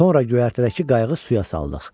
Sonra göyərtədəki qayığı suya saldıq.